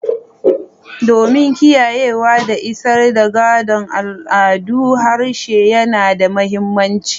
Domin kiyayewa da isar da gadon al'adu, harshe yana da mahimmanci.